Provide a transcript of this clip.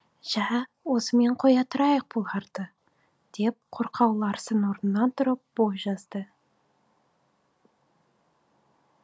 жә осымен қоя тұрайық бұларды деп қорқау ларсен орнынан тұрып бой жазды